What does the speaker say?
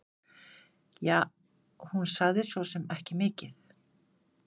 Ja, hún sagði svosem ekki mikið.